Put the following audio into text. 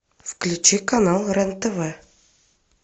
включи канал рен тв